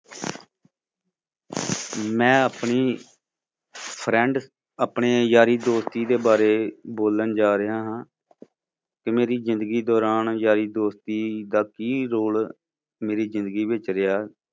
ਮੈਂ ਆਪਣੀ friend ਆਪਣੀ ਯਾਰੀ ਦੋਸਤੀ ਦੇ ਬਾਰੇ ਬੋਲਣ ਜਾ ਰਿਹਾ ਹਾਂ ਕੀ ਮੇਰੀ ਜ਼ਿੰਦਗੀ ਦੌਰਾਨ ਯਾਰੀ ਦੋਸਤੀ ਦਾ ਕੀ role ਮੇਰੀ ਜ਼ਿੰਦਗੀ ਵਿੱਚ ਰਿਹਾ।